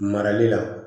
Marali la